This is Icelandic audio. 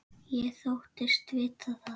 Ég þóttist vita það.